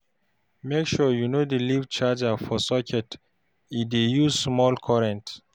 Make sure you no dey leave charger for socket e dey use small current.